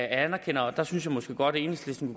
anerkender og der synes jeg måske godt at enhedslisten